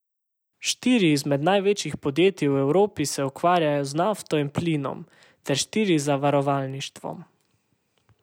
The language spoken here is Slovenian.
Štiri izmed največjih podjetij v Evropi se ukvarjajo z nafto in plinom, ter štiri z zavarovalništvom.